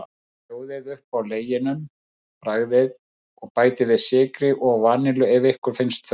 Sjóðið upp á leginum, bragðið, og bætið við sykri og vanillu ef ykkur finnst þurfa.